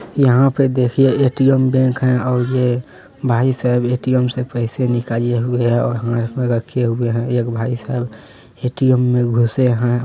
यहां पे देखिए ए_टी_एम बैंक है और ये भाईसाहब ए_टी_एम से पैसे निकाले हुए हैं और हाथ में रखे हुए है एक भाईसाहब ए_टी_एम में घुसे है।